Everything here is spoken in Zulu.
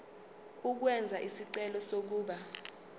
ukwenza isicelo sokuba